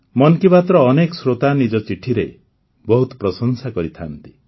ମନ୍ କି ବାତ୍ର ଅନେକ ଶ୍ରୋତା ନିଜ ଚିଠିରେ ବହୁତ ପ୍ରଶଂସା କରିଥାଆନ୍ତି